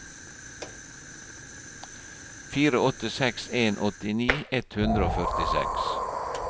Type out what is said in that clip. fire åtte seks en åttini ett hundre og førtiseks